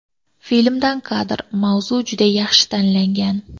Filmdan kadr Mavzu juda yaxshi tanlangan.